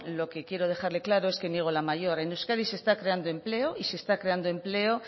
lo que quiero dejarle claro es que niego la mayor en euskadi se está creando empleo y se está creando empleo